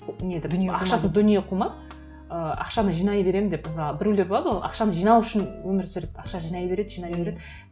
ақшасы дүние қума і ақшаны жинай беремін деп ыыы біреулер болады ғой ақшаны жинау үшін өмір сүреді ақша жинай береді жинай береді